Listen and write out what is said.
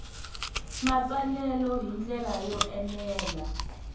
matsalelo hi ndlela yo enela